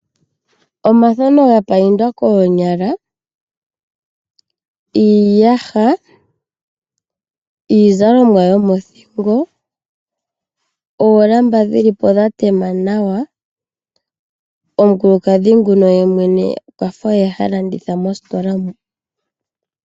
Omathano ga payindwa koonyala , iiyaha , iizalomwa yomothingo , oolamba dhili po dha tema nawa , omukulukadhi nguno ye mwene okwafa oye ha landitha mositola mu .